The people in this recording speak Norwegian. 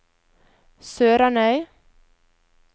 SørarnØy